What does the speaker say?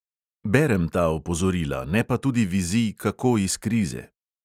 Berem ta opozorila, ne pa tudi vizij, kako iz krize.